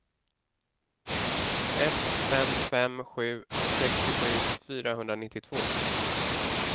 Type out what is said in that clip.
ett fem fem sju sextiosju fyrahundranittiotvå